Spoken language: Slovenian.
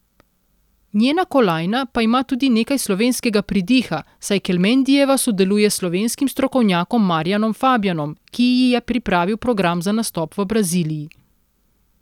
Njena kolajna pa ima tudi nekaj slovenskega pridiha, saj Kelmendijeva sodeluje s slovenskim strokovnjakom Marjanom Fabjanom, ki ji je pripravil program za nastop v Braziliji.